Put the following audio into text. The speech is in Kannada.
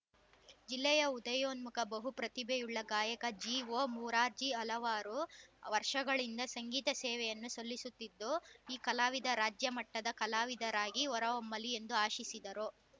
ಜಿಲ್ಲೆಯ ಉದಯೋನ್ಮುಖ ಬಹುಪ್ರತಿಭೆಯುಳ್ಳ ಗಾಯಕ ಜಿಒಮುರಾರ್ಜಿ ಹಲವಾರು ವರ್ಷಗಳಿಂದ ಸಂಗೀತ ಸೇವೆಯನ್ನು ಸಲ್ಲಿಸುತ್ತಿದ್ದು ಈ ಕಲಾವಿದ ರಾಜ್ಯ ಮಟ್ಟದ ಕಲಾವಿದರಾಗಿ ಹೊರಹೊಮ್ಮಲಿ ಎಂದು ಆಶಿಸಿದರು